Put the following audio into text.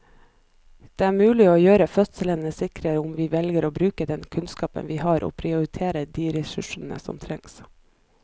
Det er mulig å gjøre fødslene sikre om vi velger å bruke den kunnskapen vi har og prioritere de ressursene som trengs.